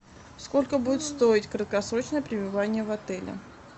сколько будет стоить краткосрочное пребывание в отеле